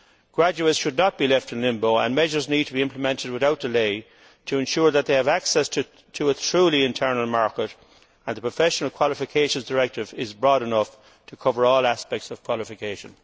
Graduates should not be left in limbo, and measures need to be implemented without delay to ensure that they have access to a truly internal market and that the Professional Qualifications Directive is broad enough to cover all aspects of qualification.